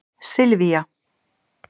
Sylvía